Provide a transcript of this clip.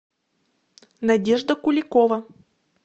надежда куликова